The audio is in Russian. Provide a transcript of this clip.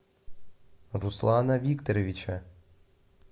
руслана викторовича